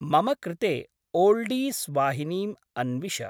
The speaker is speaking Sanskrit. मम कृते ओल्डीस्‌वाहिनीम् अन्विष।